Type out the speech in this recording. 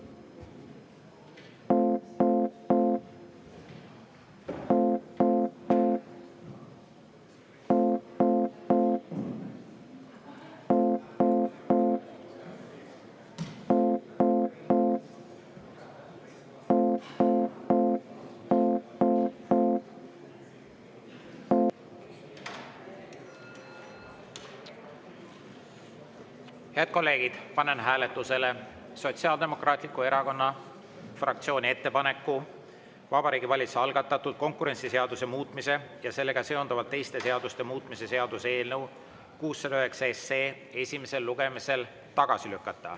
Head kolleegid, panen hääletusele Sotsiaaldemokraatliku Erakonna fraktsiooni ettepaneku Vabariigi Valitsuse algatatud konkurentsiseaduse muutmise ja sellega seonduvalt teiste seaduste muutmise seaduse eelnõu 609 esimesel lugemisel tagasi lükata.